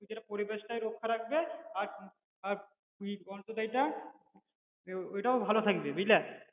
কিন্তু এটা পরিবেশটাই রক্ষা রাখবে আর আর এটাও ভালো থাকবে বুঝলা